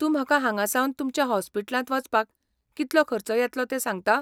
तूं म्हाका हांगासावन तुमच्या हॉस्पिटलांत वचपाक कितलो खर्च येतलो ते सांगता?